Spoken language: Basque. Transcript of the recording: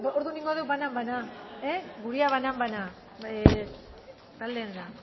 orduan egingo dugu banan banan gurea banan banan taldearena